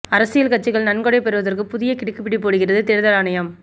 அரசியல் கட்சிகள் நன்கொடை பெறுவதற்கு புதிய கிடுக்குப்பிடி போடுகிறது தேர்தல் ஆணையம்